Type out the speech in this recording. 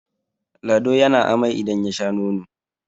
lado ya na amai idan ya Sha nono!